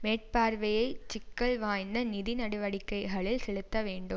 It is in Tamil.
மேற்பார்வையைச் சிக்கல் வாய்ந்த நிதி நடடிவக்கைகளில் செலுத்த வேண்டும்